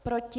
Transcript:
Proti?